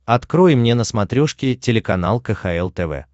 открой мне на смотрешке телеканал кхл тв